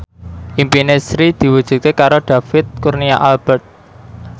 impine Sri diwujudke karo David Kurnia Albert